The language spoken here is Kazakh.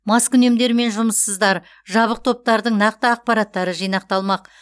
маскүнемдер мен жұмыссыздар жабық топтардың нақты ақпараттары жинақталмақ